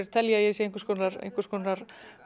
telja að ég sé einhvers konar einhvers konar